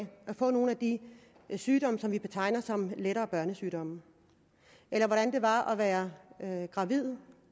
få nogle af de sygdomme som vi betegner som lettere børnesygdomme eller hvordan det var at være gravid